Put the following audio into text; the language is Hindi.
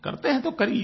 करते हैं तो करिये